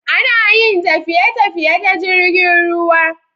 Ana Yin tafiye tafiye ta jirgin ruwa